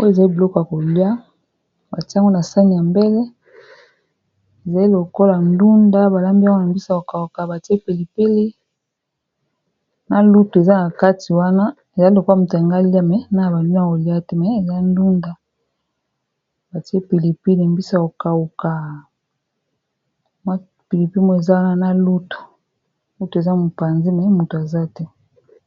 oyo ezai biloka kolia batiango na sani ya mbele ezali lokola ndunda balambi wana mbisa kokauka batie pilipilina luto eza na kati wana ezai lokola moto ya ngalia me na ya bania kolia te me eza dunda batie pilipili mbisa kokaukamwa pilipimo eza wana na lutu uto eza mopanzi me moto aza te